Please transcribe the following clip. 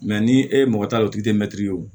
ni e ye mɔgɔ ta o tigi tɛ mɛtiri ye o